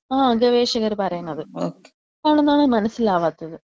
ആ ഗവേഷകർ പറയുന്നത്. അതെന്താണെന്നാണ് മനസ്സിലാവാത്തത്.